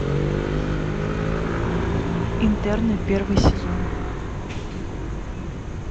интерны первый сезон